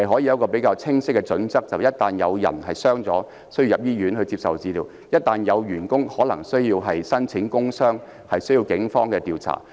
根據較清晰的準則，一旦有人受傷、需要入院接受治療，或只要有員工需要申報工傷個案，便須交由警方調查。